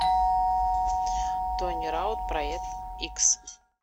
тони раут проект х